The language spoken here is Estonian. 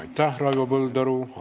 Aitäh, Raivo Põldaru!